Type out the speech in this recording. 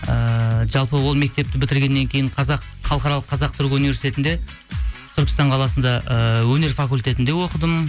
ііі жалпы ол мектепті бітіргеннен кейін халықаралық қазақ түрік университетінде түркістан қаласында ііі өнер факультетінде оқыдым